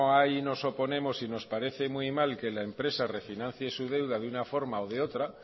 hay nos oponemos y nos parece muy mal que la empresa refinancie su deuda de una forma o de otra